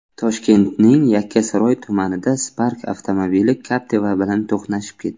Toshkentning Yakkasaroy tumanida Spark avtomobili Captiva bilan to‘qnashib ketdi.